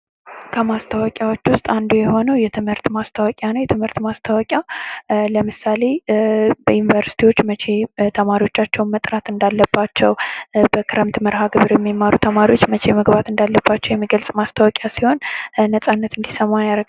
ከማስታወቂያዎች ውስጥ አንዱ የሆነው የትምህርት ማስታወቂያ ነው። የትምህርት ማስታወቂያ ለምሳሌ፦ በዩንቨርስቲዎች መቼ ተማሪዎቻቸውን መጥራት እንዳለባቸው በክረምት መርሀ ግብር የሚማሩ ተማሪዎች መቼ መግባት እንዳለባቸው የሚገልፅ ማስታወቂያ ሲሆን ነፃነት እንዲሰማን ያደርጋል።